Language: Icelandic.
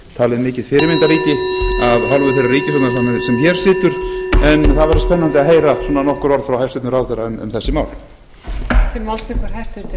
talið mikið fyrirmyndarríki af hálfu þeirrar ríkisstjórnar sem hér situr en það verður spennandi að heyra nokkur orð frá hæstvirtum ráðherra um þessi mál